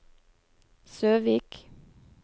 Søvik